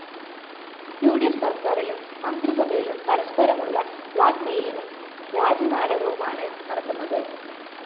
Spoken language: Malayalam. ഉ ഡി ഫ്‌ സര്‍ക്കാരിലും മന്ത്രിസഭയിലും പരസ്പരമുള്ള ബ്ലാക്‌മെയിലിംഗും രാജിനാടകവുമാണ് നടക്കുന്നത്